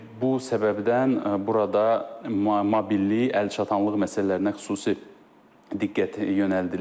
Bu səbəbdən burada mobillik, əlçatanlıq məsələlərinə xüsusi diqqət yönəldilib.